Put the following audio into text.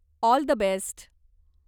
All the best!